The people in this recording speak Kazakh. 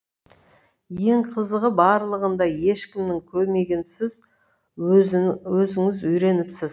ең қызығы барлығын да ешкімнің көмегінсіз өзіңіз үйреніпсіз